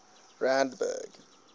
randburg